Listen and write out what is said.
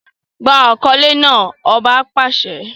Gba akọle naa! ọba pàṣẹ!